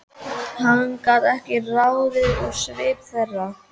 Hann gat ekkert ráðið úr svip þeirra.